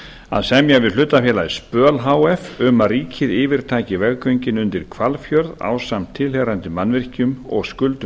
að semja við hlutafélagið spöl h f um að ríkið yfirtaki veggöngin undir hvalfjörð ásamt tilheyrandi mannvirkjum og skuldum